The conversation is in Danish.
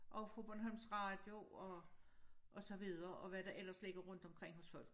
Og fra Bornholms radio og og så videre og hvad der ellers ligger rundt omkring hos folk